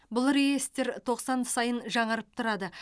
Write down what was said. бұл реестр тоқсан сайын жаңарып тұрады